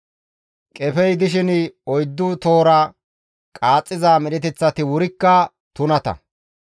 « ‹Qefey dishin oyddu tohora qaaxxiza medheteththati wurikka tunata;